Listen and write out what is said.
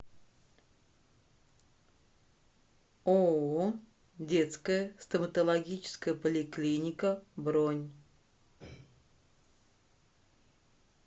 ооо детская стоматологическая поликлиника бронь